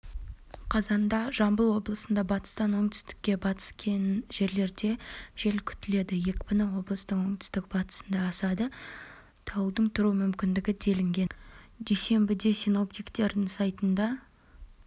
қазанда жамбыл облысында батыстан оңтүстік-батыстанкей жерлерде жел күтіледі екпіні облыстың оңтүстік-батысында асады дауылдың тұру мүмкіндігі делінген дүйсенбіде синоптиктердің сайтында